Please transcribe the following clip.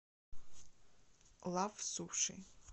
лав суши